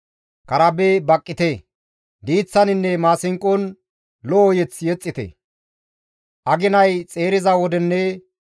Aginay xeeriza wodenne dhuman geliza wode ba7aales zaye punnite.